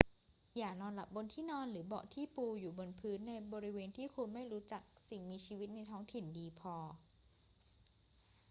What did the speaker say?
อย่านอนหลับบนที่นอนหรือเบาะที่ปูอยู่บนพื้นในบริเวณที่คุณไม่รู้จักสิ่งมีชีวิตในท้องถิ่นดีพอ